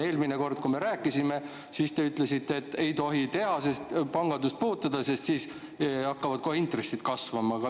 Eelmine kord, kui me rääkisime, te ütlesite, et ei tohi pangandust puutuda, sest siis hakkavad intressid kasvama.